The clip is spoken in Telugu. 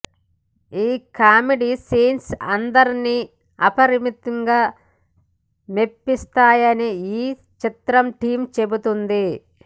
ఈ కామెడీ సీన్స్ అందరినీ అమితంగా మెప్పిస్తాయని ఈ చిత్ర టీం చెబుతోంది